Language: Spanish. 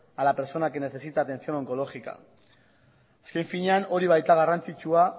a la persona que necesita atención oncológica azken finean hori baita garrantzitsua